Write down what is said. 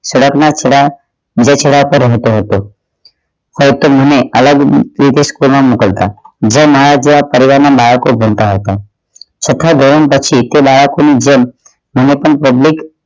સડક ના થોડા પછડા પર રહતો હતો હાલ તેમણે અલગ રીતે school માં મોકલતા જેમાં મારા જેવા પરિવાર ના બાળકો જ ભણતા હતા છઠા ધોરણ પછી તે બાળકો ની જેમ હું પણ